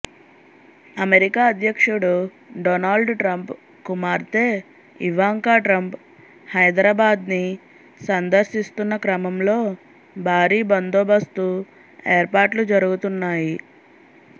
America అధ్యక్షుడు Donald Trump కుమార్తె Ivanka Trump హైదరాబాద్ని సందర్శిస్తున్న క్రమంలో భారీ బందోబస్తు ఏర్పాట్లు జరుగుతున్నాయి